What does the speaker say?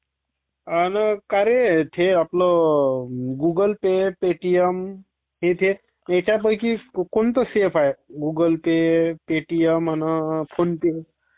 आणि कारे ते आपलं गुगल पे, पेटीएम, ह्यापैकी कोणतं सेफ आहे...गुगुल पे, पेटीएम...आणि फोन पे